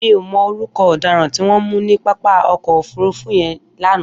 Mi ó mọ órùkọ ọdàrãn tiwọn mù ni pápá ọkọ ófùrùfù yèn lànã